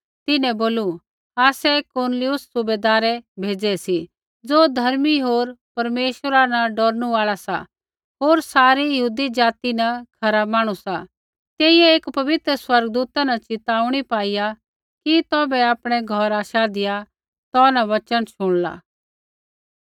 तिन्हैं बोलू आसै कुरनेलियुस सुबैदारै भेज़ै सी ज़ो धर्मी होर परमेश्वरा न डौरनू आल़ा सा होर सारी यहूदी ज़ाति न खरा मांहणु सा तेइयै एकी पवित्र स्वर्गदूता न च़िताऊणी पाई कि तौभै आपणै घौरा शाधिआ तौ न वचन शुणला